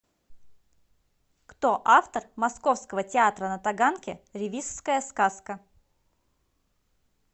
кто автор московского театра на таганке ревизская сказка